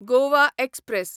Goa express